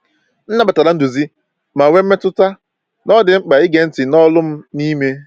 M nabatara nduzi, ma nwee mmetụta na ọ dị mkpa ịge ntị n’olu m n’ime.